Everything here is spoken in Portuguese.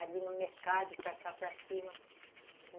ali no mercado, para cá, para cima.